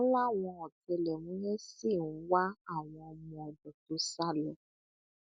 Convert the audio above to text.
wọn láwọn ọtẹlẹmúyẹ ṣì ń wá àwọn ọmọọdọ tó sá lọ